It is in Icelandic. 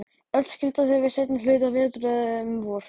Öll skildu þau við seinni hluta vetrar, eða um vor.